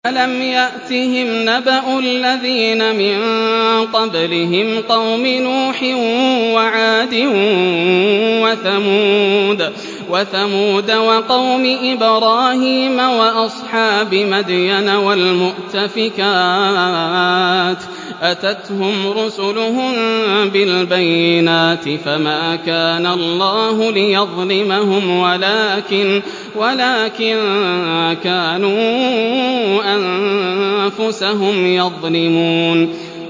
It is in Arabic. أَلَمْ يَأْتِهِمْ نَبَأُ الَّذِينَ مِن قَبْلِهِمْ قَوْمِ نُوحٍ وَعَادٍ وَثَمُودَ وَقَوْمِ إِبْرَاهِيمَ وَأَصْحَابِ مَدْيَنَ وَالْمُؤْتَفِكَاتِ ۚ أَتَتْهُمْ رُسُلُهُم بِالْبَيِّنَاتِ ۖ فَمَا كَانَ اللَّهُ لِيَظْلِمَهُمْ وَلَٰكِن كَانُوا أَنفُسَهُمْ يَظْلِمُونَ